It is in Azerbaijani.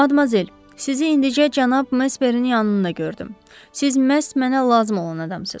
Madmazel, sizi indicə cənab Mesmerin yanında gördüm, siz məhz mənə lazım olan adamsız.